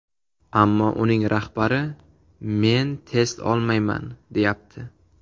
Ammo uning rahbari ‘Men test olmayman’, deyapti.